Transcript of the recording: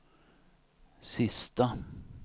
sista